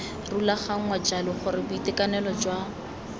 rulaganngwa jalo gore boitekanelo jwa